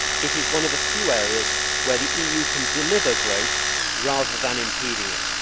It is one of the few areas where the EU can deliver growth rather than impede it.